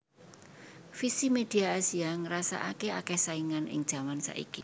Visi Media Asia ngrasaake akeh saingan ing jaman saiki